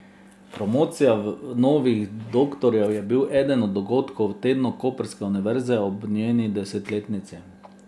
Promocija novih doktorjev je bil eden od dogodkov v tednu koprske univerze ob njeni desetletnici.